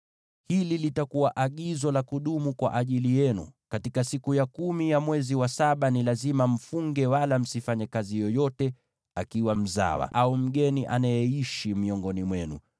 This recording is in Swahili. “Hili litakuwa agizo la kudumu kwa ajili yenu: Katika siku ya kumi ya mwezi wa saba ni lazima mfunge, wala msifanye kazi yoyote, iwe mzawa au mgeni anayeishi miongoni mwenu,